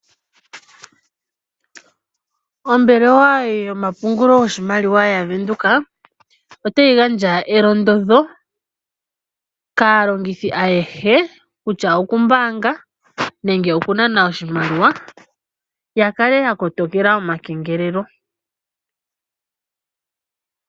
Ombelewa yomapungulo gwoshimaliwa yaVenduka otayi gandja elondodho kaalongithi ayehe kutya okumbanga nenge okunana oshimaliwa ya kale ya kotokela omakengelelo.